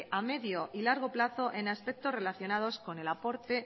a medio y largo plazo en aspectos relaciones con el aporte